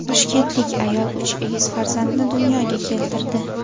Toshkentlik ayol uch egiz farzandni dunyoga keltirdi.